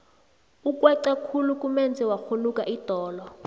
ukweca khulu kumenze wakghunuka idolo